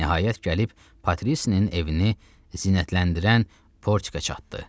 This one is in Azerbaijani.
Nəhayət gəlib Patrisinin evini zinətləndirən Portikə çatdı.